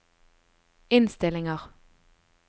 innstillinger